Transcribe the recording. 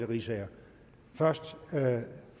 riisager først er det